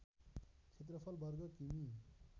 क्षेत्रफल वर्ग कि मि